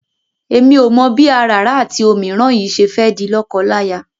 Èmi ò mọ̀ bí àràrá àti òmíràn yìí ṣe fẹ́ di lọ́kọláya.